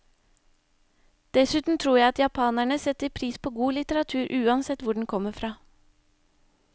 Dessuten tror jeg at japanerne setter pris på god litteratur, uansett hvor den kommer fra.